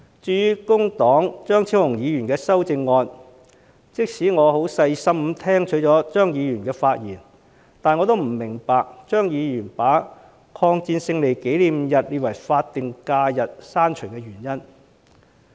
至於工黨張超雄議員的修正案，即使我很細心地聆聽了張議員的發言，但我仍不明白張議員不把中國人民抗日戰爭勝利紀念日列為法定假日的原因。